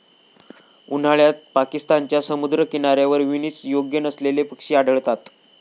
उन्हाळ्यात पाकिस्तानच्या समुद्रकिनाऱ्यावर विनीस योग्य नसलेले पक्षी आढळतात.